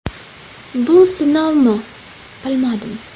Bu sinovmi, bilmadim.